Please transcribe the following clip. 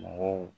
Mɔgɔw